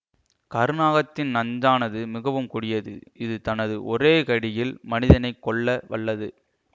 கருநாகத்தின் நஞ்சானது மிகவும் கொடியது இது தனது ஒரே கடியில் மனிதனை கொல்ல வல்லது